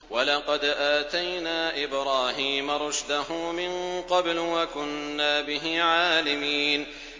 ۞ وَلَقَدْ آتَيْنَا إِبْرَاهِيمَ رُشْدَهُ مِن قَبْلُ وَكُنَّا بِهِ عَالِمِينَ